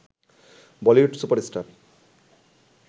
Bollywood super star